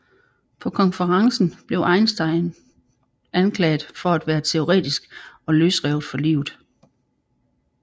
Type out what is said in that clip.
På konferencen blev Eisenstein blev anklaget for at være teoretisk og løsrevet fra livet